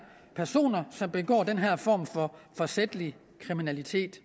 personer som begår den her form for forsætlig kriminalitet